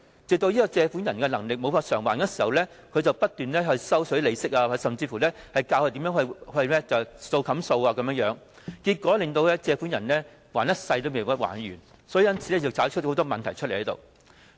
直到借款人無力還款時，便不斷收取利息，甚至教借款人"數冚數"，結果令借款人還一輩子也還不完，因而衍生更多問題。